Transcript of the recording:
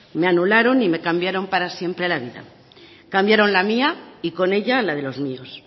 me anularon y me cambiaron para siempre la vida cambiaron la mía y con ella la de los míos